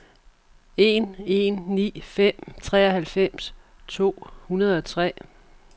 en en ni fem treoghalvfems to hundrede og tre